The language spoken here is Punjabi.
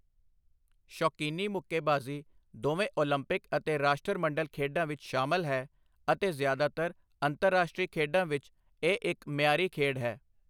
ਸ਼ੌਕੀਨੀ ਮੁੱਕੇਬਾਜ਼ੀ ਦੋਵੇਂ ਓਲੰਪਿਕ ਅਤੇ ਰਾਸ਼ਟਰਮੰਡਲ ਖੇਡਾਂ ਵਿੱਚ ਸ਼ਾਮਿਲ ਹੈ ਅਤੇ ਜ਼ਿਆਦਾਤਰ ਅੰਤਰਰਾਸ਼ਟਰੀ ਖੇਡਾਂ ਵਿੱਚ ਇਹ ਇੱਕ ਮਿਆਰੀ ਖੇਡ ਹੈ।